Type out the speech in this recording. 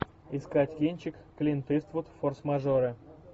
искать кинчик клинт иствуд форс мажоры